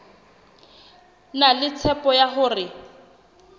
na le tshepo ya hore